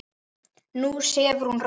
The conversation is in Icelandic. Nú sefur hún rótt.